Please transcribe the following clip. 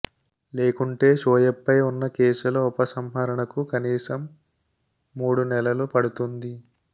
లేకుంటే షోయబ్ పై ఉన్న కేసుల ఉపసంహరణకు కనీసం మూడు నెలలు పడుతుంది